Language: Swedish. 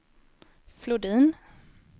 Flodin